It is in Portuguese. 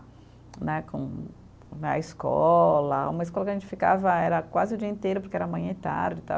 Né com, na escola, uma escola que a gente ficava era quase o dia inteiro, porque era manhã e tarde, tal.